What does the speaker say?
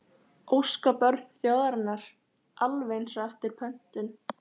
Óskabörn þjóðarinnar, alveg eins og eftir pöntun